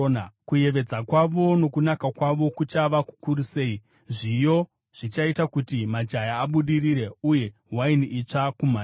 Kuyevedza kwavo nokunaka kwavo kuchava kukuru sei! Zviyo zvichaita kuti majaya abudirire, uye waini itsva kumhandara.